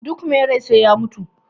duk mai rai sai ya mutu